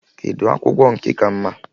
Kedụ akwụkwọ nke ka mma?